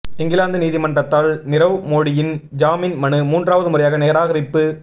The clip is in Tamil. இங்கிலாந்து நீதிமன்றத்தால் நிரவ் மோடியின் ஜாமீன் மனு மூன்றாவது முறையாக நிராகரிப்பு